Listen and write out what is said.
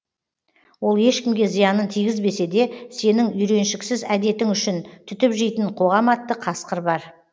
ол ешкімге зиянын тигізбесе де сенің үйреншіксіз әдетің үшін түтіп жейтін қоғам атты қасқыр бар